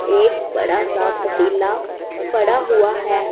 एक बड़ा सा पतिला पड़ा हुआ है।